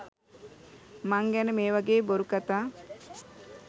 මං ගැන මේවගේ බොරු කතා